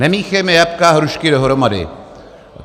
Nemíchejme jablka a hrušky dohromady.